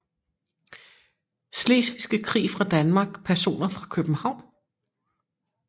Slesvigske Krig fra Danmark Personer fra København